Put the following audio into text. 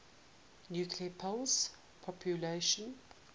nuclear pulse propulsion